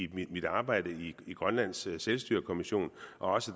mit arbejde i grønlands selvstyrekommission og